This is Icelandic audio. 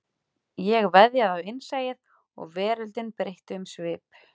Ég veðjaði á innsæið og veröldin breytti um svip